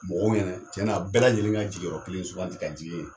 Mɔgɔw ɲɛnɛ tiɲɛna bɛɛ lajɛlen ka jigiyɔrɔ kelen suganti ka jigi yen nɔ.